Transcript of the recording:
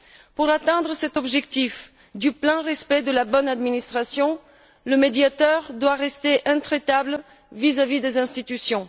Pour atteindre cet objectif de plein respect de la bonne administration, le Médiateur doit rester intraitable vis à vis des institutions.